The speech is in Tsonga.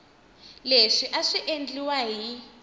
leswi a swi endliwa hi